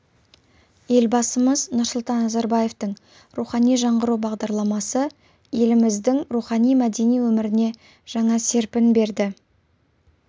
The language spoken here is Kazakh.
елбасымыз нұрсұлтан назарбаевтың рухани жаңғыру бағдарламасы еліміздің рухани-мәдени өміріне жаңа серпін берді